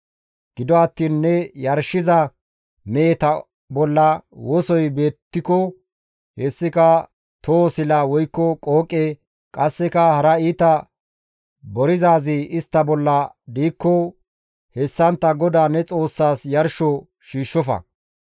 Gido attiin ne yarshiza meheta bolla wosoy beettiko, hessika toho sila woykko qooqe, qasseka hara iita borizaazi istta bolla diikko hessantta GODAA ne Xoossaas yarsho shiishshofa.